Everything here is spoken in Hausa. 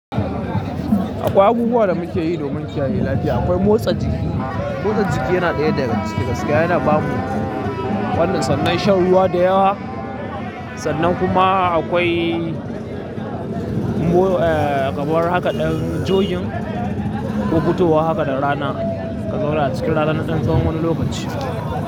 Akwai abubuwan da muke yi domin kiyaye lafiya. Akwai motsa jiki. Motsa jiki yana ɗaya daga cikin gaskiya. Yana ba mu wannan sannan shan ruwa da yawa sannan kuma akwai mo eh, kamar haka dan jogging ko fitowa haka da rana. Ka zauna a cikin rana na ɗan tsawon wani lokaci.